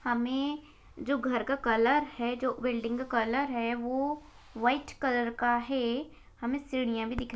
हमें जो घर का कलर है जो बिल्डिंग का कलर है वो व्हाइट कलर का है हमें सीढ़ियां भी दिख--